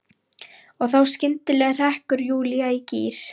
Og þá skyndilega hrekkur Júlía í gír.